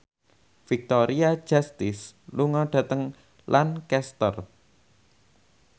Victoria Justice lunga dhateng Lancaster